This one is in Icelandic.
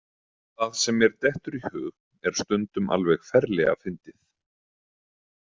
Það sem mér dettur í hug er stundum alveg ferlega fyndið.